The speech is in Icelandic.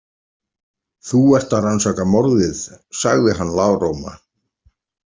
Þú ert að rannsaka morðið, sagði hann lágróma.